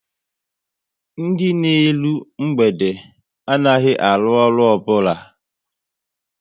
Ndị na eru mgbede anaghị arụ ọrụ obula